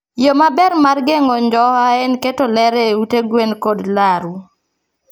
Yo maber mar geng'o njoha en keto ler e ute gwen kod laru.